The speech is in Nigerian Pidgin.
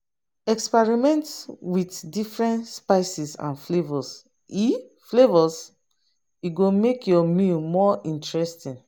Experiment with different spices and flavors; e flavors; e go make your meal more interesting.